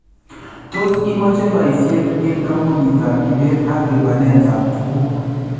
Tos imache baisyet en koombunitaab ibeet ak libaneetab tukuk?